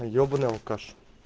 ёбаный алкаш